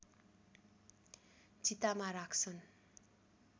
चितामा राख्छन्